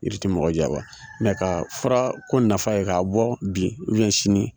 Jiri ti mɔgɔ janfa mɛ ka fura ko nafa ye k'a bɔ bi sini